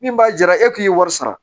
Min b'a jara e k'i ye wari sara